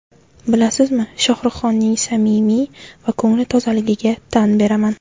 Bilasizmi, Shohruxxonning samimiy va ko‘ngli tozaligiga tan beraman.